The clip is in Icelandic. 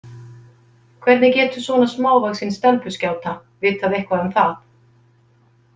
Hvernig getur svona smávaxin stelpuskjáta vitað eitthvað um það?